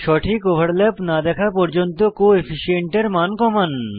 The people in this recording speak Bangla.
সঠিক ওভারল্যাপ না দেখা পর্যন্ত কোফিশিয়েন্ট এর মান কমান